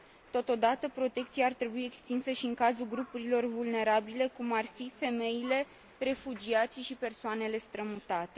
Totodată, protecția ar trebui extinsă și în cazul grupurilor vulnerabile, cum ar fi femeile, refugiații și persoanele strămutate.